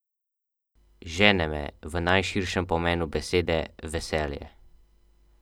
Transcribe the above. Žene me, v najširšem pomenu besede, veselje.